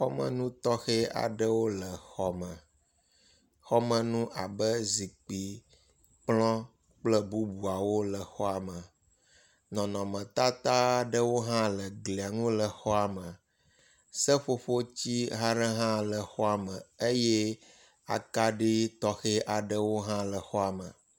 Xɔmenutɔxe aɖewo le xɔ me. Xɔmenu abe zikpui, kplɔ kple bubuawo le xɔa me. Nɔnɔmetata aɖewo hã le glia nu le xɔa me. Seƒoƒoti aɖe hã le xɔa me eye akaɖi tɔxe aɖewo hã le xɔa me.